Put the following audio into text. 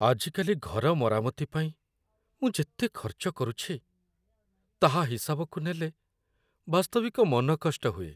ଆଜିକାଲି ଘର ମରାମତି ପାଇଁ ମୁଁ ଯେତେ ଖର୍ଚ୍ଚ କରୁଛି, ତାହା ହିସାବକୁ ନେଲେ, ବାସ୍ତବିକ ମନ କଷ୍ଟ ହୁଏ।